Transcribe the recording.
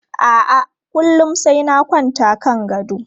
A'a, kullum sai na kwanta kan gado.